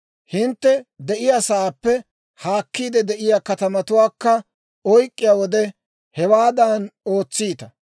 Hintte de'iyaasaappe haakkiide de'iyaa katamatuwaakka oyk'k'iyaa wode, hewaadan ootsiita.